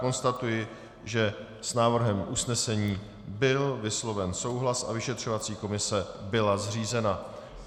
Konstatuji, že s návrhem usnesení byl vysloven souhlas a vyšetřovací komise byla zřízena.